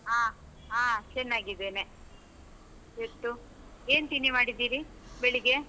ಹಾ ಹಾ ಚೆನ್ನಾಗಿದ್ದೇನೆ, ಇವತ್ತು, ಏನ್ ತಿಂಡಿ ಮಾಡಿದ್ದೀರಿ, ಬೆಳಿಗ್ಗೆ?